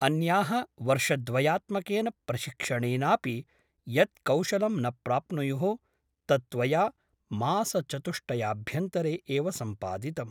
अन्याः वर्षद्वयात्मकेन प्रशिक्षणेनापि यत् कौशलं न प्राप्नुयुः तत् त्वया मासचतुष्टयाभ्यन्तरे एव सम्पादितम् ।